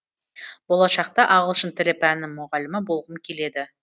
болашақта ағылшын тілі пәнінің мұғалімі болғым келеді